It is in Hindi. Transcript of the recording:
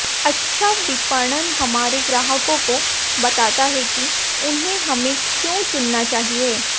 अच्छा विपणन हमारे ग्राहकों को बताता है कि उन्हें हमें क्यों चुनना चाहिए